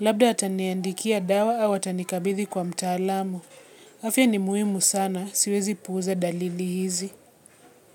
Labda ataniandikia dawa au atanikabidhi kwa mtaalamu. Afia ni muhimu sana, siwezi puuza dalili hizi.